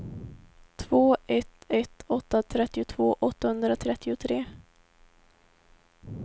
två ett ett åtta trettiotvå åttahundratrettiotre